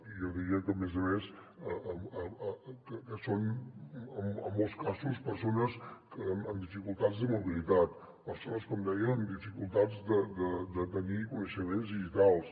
i jo diria a més a més que són en molts casos persones amb dificultats de mobilitat persones com deia amb dificultats de tenir coneixements digitals